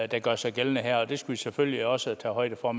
der gør sig gældende her og det skal man selvfølgelig også tage højde for